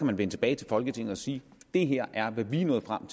man vende tilbage til folketinget og sige det her er hvad vi er nået frem